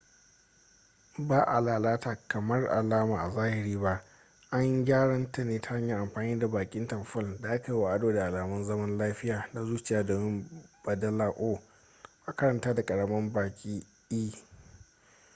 ba a lalata alamar a zahiri ba an yi gyaran ne ta hanyar amfani da bakin tamfol da aka yi wa ado da alamun zaman lafiya da zuciya domin baddala o a karanta ta da ƙaramin baki e